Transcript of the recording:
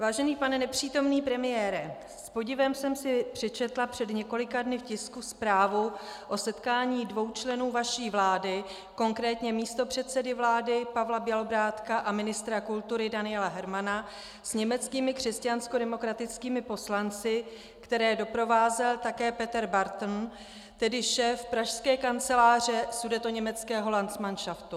Vážený pane nepřítomný premiére, s podivem jsem si přečetla před několika dny v tisku zprávu o setkání dvou členů vaší vlády, konkrétně místopředsedy vlády Pavla Bělobrádka a ministra kultury Daniela Hermana, s německými křesťanskodemokratickými poslanci, které doprovázel také Peter Barton, tedy šéf pražské kanceláře sudetoněmeckého landsmanšaftu.